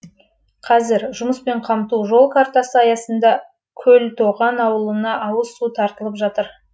қазір жұмыспен қамту жол картасы аясында көлтоған ауылына ауыз су тартылып жатыр